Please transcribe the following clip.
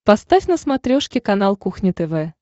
поставь на смотрешке канал кухня тв